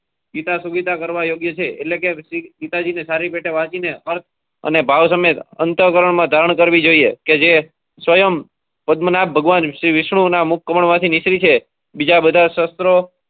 ગીતા સુવિધા કરવા યોગ્ય છે એટલે કે ગીતા જી ને સારી રીતે વાચી ને ભાવ સમેત અંતકરણ માં ધારણ કરવી જોયીયે કે જે સયમ પદ્મનાથ ભગવાન જે વિષ્ણુ ના મુખ માં થી નીકળી છે બીજા બધાં શસ્ત્રો